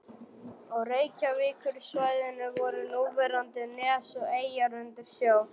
Á Reykjavíkursvæðinu voru núverandi nes og eyjar undir sjó.